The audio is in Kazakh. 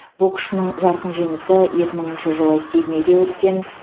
боксшысының жарқын жеңісі екі мыңшы жылы сиднейде өткен